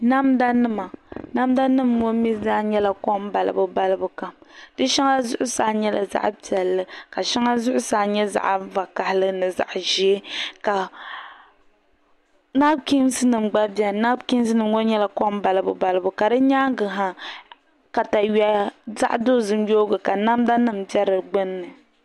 Namda nima namda nim maa mii zaa nyɛla kom balibu kam di shɛŋa zuɣusaa nyɛla zaɣ piɛlli ka shɛŋa zuɣusaa mii nyɛ zaɣ vakaɣili ni zaɣ ʒiɛ ka nabikiins nim gba biɛni nabikiinsnim ŋo nyɛla kom balibu yoogi ka namda nim bɛ di gbunni balibu ka di nyaanga ha katawiya zaɣ dozim